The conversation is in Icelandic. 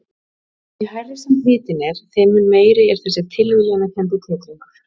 Því hærri sem hitinn er þeim mun meiri er þessi tilviljanakenndi titringur.